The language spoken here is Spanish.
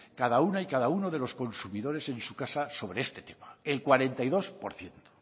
cada una y cada uno de los consumidores en su casa sobre este tema el cuarenta y dos por ciento